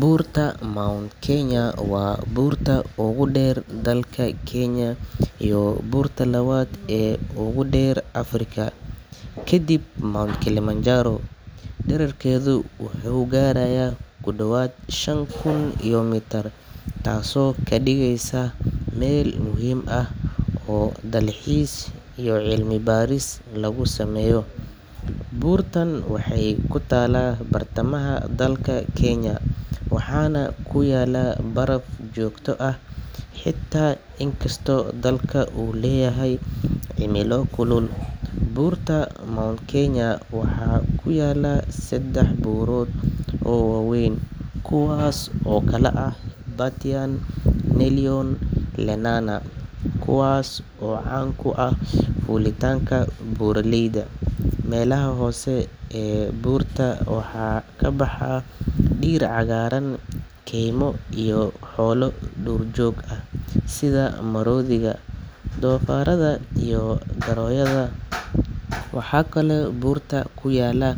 Buurta Mount Kenya waa buurta ugu dheer dalka Kenya iyo buurta labaad ee ugu dheer Afrika kadib Mount Kilimanjaro. Dhererkeedu wuxuu gaarayaa ku dhowaad shan kun iyo mitir, taasoo ka dhigaysa meel muhiim ah oo dalxiis iyo cilmi baaris lagu sameeyo. Buurtan waxay ku taallaa bartamaha dalka Kenya waxaana ku yaalla baraf joogto ah xitaa inkastoo dalka uu leeyahay cimilo kulul. Buurta Mount Kenya waxaa ku yaalla saddex buurood oo waaweyn kuwaasoo kala ah Batian, Nelion iyo Lenana, kuwaas oo caan ku ah fuulitaanka buuraleyda. Meelaha hoose ee buurta waxaa ka baxa dhir cagaaran, keymo, iyo xoolo duurjoog ah sida maroodiga, doofaarada iyo goroyada. Waxaa kaloo buurta ku yaalla